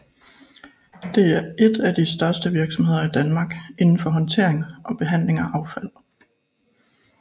Det er et de største virksomheder i Danmark inden for håndtering og behandling af affald